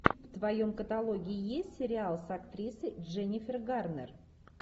в твоем каталоге есть сериал с актрисой дженнифер гарнер